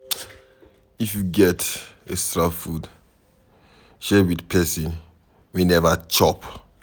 If you get extra food, share with person wey neva chop.